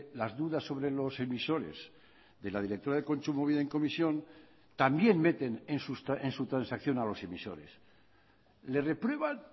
las dudas sobre los emisores de la directora de kontsumobide en comisión también meten en su transacción a los emisores le reprueban